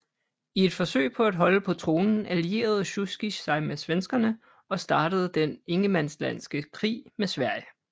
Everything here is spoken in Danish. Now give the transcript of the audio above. I et forsøg på at holde på tronen allierede Sjujskij sig med svenskerne og startede den ingermanlandske krig med Sverige